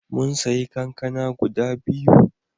Mun sayi kankana guda biyu.